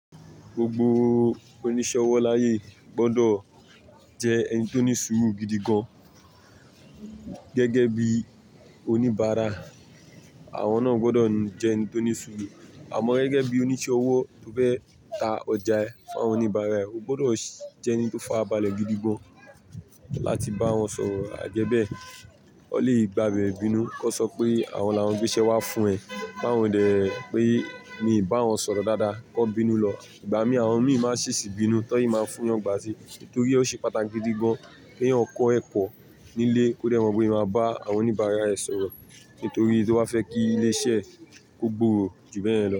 Gbogbo oníṣẹ́ ọwọ́ láyé gbọdọ̀ jẹ́ ẹni tó ní sùúrù gidi gan. Gẹ́gẹ́ bí oníbàárà, àwọn náà gbọdọ̀ jẹ́ ẹni tó ní sùúrù. Àmọ́ gẹ́gẹ́ bí oníṣẹ́ ọwọ́ tó fẹ́ ta ọjà ẹ fún àwọn oníbàárà, o gbọdọ̀ jẹ́ ẹni tó fàbọlẹ̀ gidi gan láti bá wọn sọ̀rọ̀. Àjẹ́bẹ́ẹ̀, o lè gbàbe bínú kó sọ pé àwọn là ń gbéṣẹ́ wá fún ẹ. Báwo ni dè pé ìí bá wọn sọ̀rọ̀ dáadáa, kó bínú lọ. Ìgbà mí, àwọn mi máa sì sì bínú, tọ́í máa fún wọn gbà te. Nítorí ó ṣe pàtàkì gidi gan pé yóò kọ́ ẹ̀kọ́ nílé kó lè mọ bí ìí máa bá àwọn oníbàárà ẹ sọ̀rọ̀. Nítorí tó fẹ́ kí ilé iṣẹ́ ó gbòòrò jù bẹ́ẹ̀ lọ.